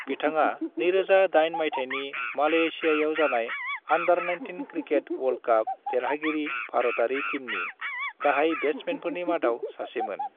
बिथाङा 2008 मायथाइनि मलेशियायाव जानाय अंडर-19 क्रिकेट वर्ल्ड कप देरहागिरि भारतारि टीमनि गाहाय बेट्समेनफोरनि मादाव सासेमोन।